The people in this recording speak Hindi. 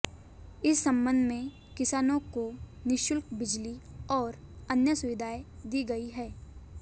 इस संबध में किसानों को निशुल्क बिजली और अन्य सुविधाएं दी गई हैं